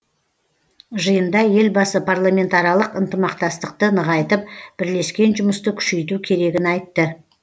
жиында елбасы парламентаралық ынтымақсатықты нығайтып бірлескен жұмысты күшейту керегін айтты